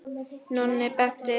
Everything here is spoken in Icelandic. Nonni benti henni á hana.